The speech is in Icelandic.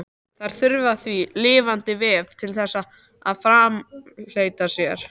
Þær þurfa því lifandi vef til þess að framfleyta sér.